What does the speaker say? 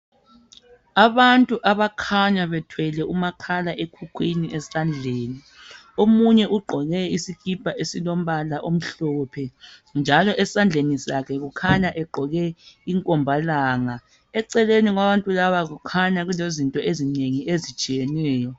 Abantu abakhanya bethwele umakhala ekhukhwini esandleni, omunye ugqoke isikipa esilombala omhlophe, njalo esandleni sakhe ekhanya egqoke inkombalanga. Eceleni kwabantu laba kukhanya kulezinto ezinengi ezitshiyeneyo.